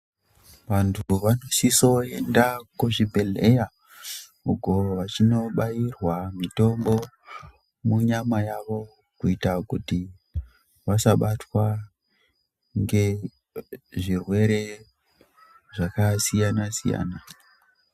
Vantu vanisiso enda kuzvibhedhleya uko vachinobairwa mitombo munyama yavo kuita kuti vasabatwa ngezvirwere zvakasiyana siyana.